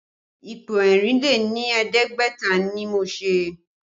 Ipo ẹ̀rìn lé ní ẹ̀ẹ́dẹ́gbẹ̀ta ni mo ṣe